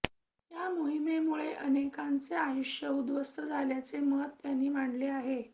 या मोहिमेमुळे अनेकांचे आयुष्य उद्ध्वस्त झाल्याचे मत त्यांनी मांडले आहे